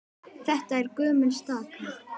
Þetta er gömul staka.